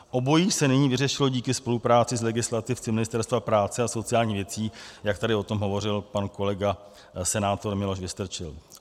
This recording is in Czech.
Obojí se nyní vyřešilo díky spolupráci s legislativci Ministerstva práce a sociálních věcí, jak tady o tom hovořil pan kolega, senátor Miloš Vystrčil.